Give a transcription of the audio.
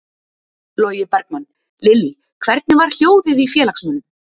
Logi Bergmann: Lillý, hvernig var hljóðið í félagsmönnum?